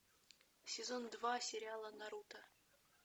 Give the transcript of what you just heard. сезон два сериала наруто